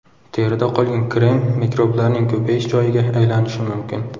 Terida qolgan krem mikroblarning ko‘payish joyiga aylanishi mumkin.